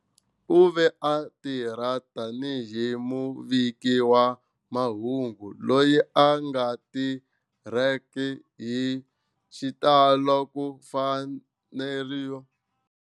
U ve a tirha tani hi muviki wa mahungu loyi a nga tirheki hi xitalo ku faneriwa.